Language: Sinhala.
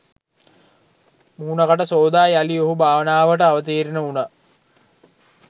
මුහණ කට සෝදා යලි ඔහු භාවනාවට අවතීර්ණ උණා.